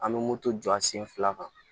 An bɛ moto jɔ jɔ a sen fila kan